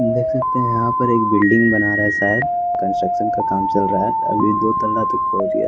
देख सकते हैं यहाँ पर एक बिल्डिंग बना रा है शायद कंस्ट्रक्शन का काम चल रहा है अभी दो तल्ला तक पहुँच गया --